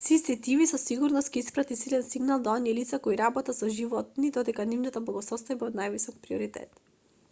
cctv со сигурност ќе испрати силен сигнал до оние лица кои работат со животни дека нивната благосостојба е од највисок приоритет